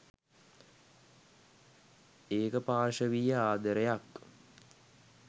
ඒකපාර්ශවීය ආදරයක්.